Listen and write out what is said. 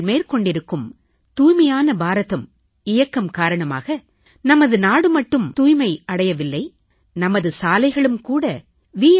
நீங்கள் மேற்கொண்டிருக்கும் தூய்மையான பாரதம் இயக்கம் காரணமாக நமது நாடு மட்டும் தூய்மை அடையவில்லை நமது சாலைகளும் வி